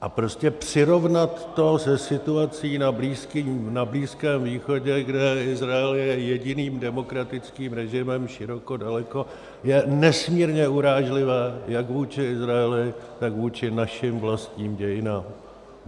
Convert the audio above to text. A prostě přirovnat to se situací na Blízkém východě, kde Izrael je jediným demokratickým režimem široko daleko, je nesmírně urážlivé jak vůči Izraeli, tak vůči našim vlastním dějinám.